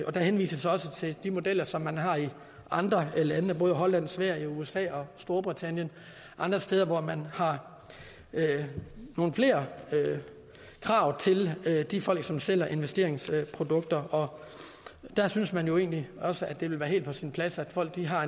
og der henvises også til de modeller som man har i andre lande både holland sverige usa og storbritannien og andre steder hvor man har nogle flere krav til de folk som sælger investeringsprodukter og der synes man jo egentlig også at det vil være helt på sin plads at folk har